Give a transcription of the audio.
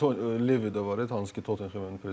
Levi də var, hansı ki, Tottenhemin prezidenti.